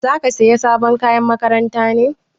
Zaka saya sabon kayan makaranta ne?